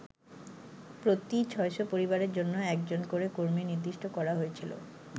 প্রতি ছয়শ পরিবারের জন্য একজন করে কর্মী নির্দিষ্ট করা হয়েছিল।